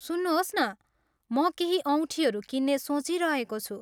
सुन्नुहोस् न, म केही औँठीहरू किन्ने सोचिरहेको छु।